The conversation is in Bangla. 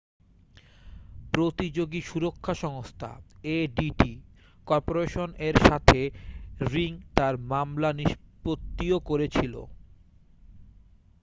প্রতিযোগী সুরক্ষা সংস্থা adt কর্পোরেশন এর সাথে রিং তার মামলা নিষ্পত্তিও করেছিল